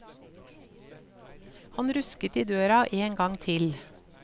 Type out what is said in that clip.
Han rusket i døra en gang til.